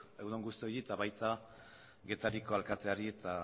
egun on guztioi eta baita getariako alkateari eta